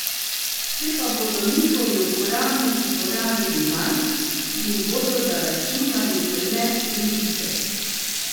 Če pa bodo njihovi uporabniki porabili manj, jim bodo zaračunali le pribitek.